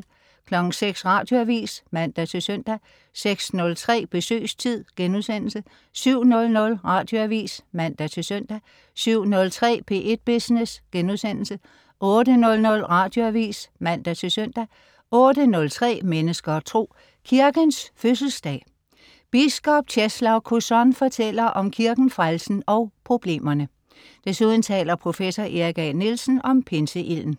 06.00 Radioavis (man-søn) 06.03 Besøgstid* 07.00 Radioavis (man-søn) 07.03 P1 Business* 08.00 Radioavis (man-søn) 08.03 Mennesker og Tro. Kirkens fødselsdag. Biskop Czeslaw Kozon fortæller om kirken, frelsen og problemerne. Desuden taler professor Erik A. Nielsen om pinseilden